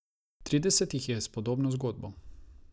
Trideset jih je s podobno zgodbo.